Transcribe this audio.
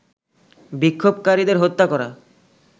বিক্ষোভকারীদের হত্যা করা